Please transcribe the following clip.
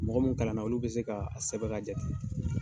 Mɔgɔ mun kalan na, olu bɛ se ka sɛbɛn, ka jate.